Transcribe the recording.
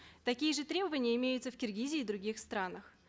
такие же требования имеются в киргизии и в других странах